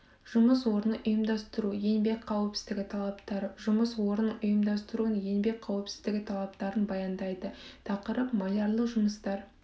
жұмыс орнын ұйымдастыру еңбек қауіпсіздігі талаптары жұмыс орнының ұйымдастыруын еңбек қауіпсіздігі талаптарын баяндайды тақырып малярлы жұмыстар